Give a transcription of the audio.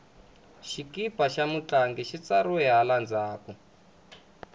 xikipa xa mutlangi xi tsariwile hala ndzhaku